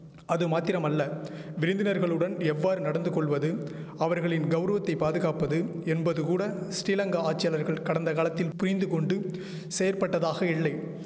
அது மாத்திரமல்ல விருந்தினர்களுடன் எவ்வாறு நடந்துகொள்வது அவர்களின் கௌரவத்தை பாதுகாப்பது என்பதுகூட ஸ்ரீலங்கா ஆட்சியாளர்கள் கடந்த காலத்தில் புயிந்துகொண்டு செயற்பட்டதாக இல்லை